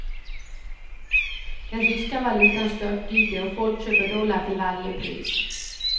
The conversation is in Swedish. Den ryska valutan störtdyker och folk köper dollar till varje pris.